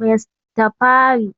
Rastafari.